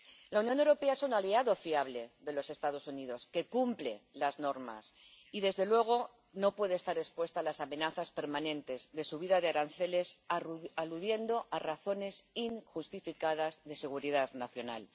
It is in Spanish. La Unión Europea es un aliado fiable de los Estados Unidos que cumple las normas y, desde luego, no puede estar expuesta a las amenazas permanentes de subida de aranceles aludiendo a razones injustificadas de seguridad nacional.